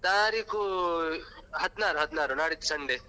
ತಾರೀಕು ಹದಿನಾರು ಹದಿನಾರು ನಾಡಿದ್ದು Sunday .